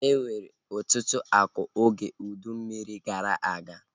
E nwere ọtụtụ akụ oge ụdị mmiri gara aga